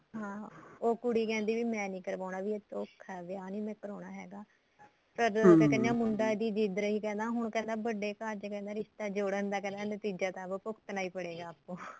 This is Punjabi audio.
ਹਾਂ ਉਹ ਕੁੜੀ ਕਹਿੰਦੀ ਮੈਂ ਨੀ ਕਰਵਾਨਾ ਵੀ ਧੋਖਾ ਵਿਆਹ ਨੀ ਮੈਂ ਕਰਾਉਣਾ ਹੈਗਾ ਤਦ ਕਿਆ ਕਹਿੰਦੇ ਮੁੰਡਾ ਈ ਜਿੱਦ ਰਹੀ ਕਹਿੰਦਾ ਹੁਣ ਕਹਿੰਦਾ ਵੱਡੇ ਘਰ ਚ ਕਹਿੰਦਾ ਰਿਸ਼ਤਾ ਜੋੜਣ ਦਾ ਨਤੀਜਾ ਤਾਂ ਭੁਗਤਨਾ ਹੀ ਪੜੇਗਾ ਆਪਕੋ